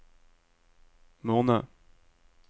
måned